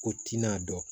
Ko tina dɔn